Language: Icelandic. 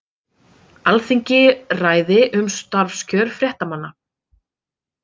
Alþingi ræði um starfskjör fréttamanna